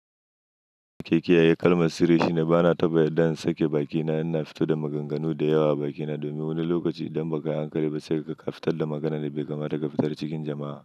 Keke yayi kalmar sirri shine bana taɓa sake bakina ina fito da maganganu da yawa bakina domin wani lokaci idan baka yi hankali ba sai kuka fitar da maganan da bai kamata ka fitar cikin jama'a.